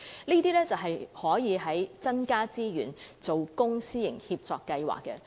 政府可以增加資源，在公私營協作計劃下進行這些工作。